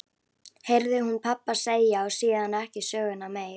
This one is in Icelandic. heyrði hún pabba segja og síðan ekki söguna meir.